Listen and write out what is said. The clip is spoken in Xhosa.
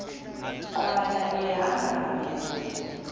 nkqwala ehamba ngamlenze